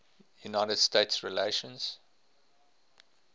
united states relations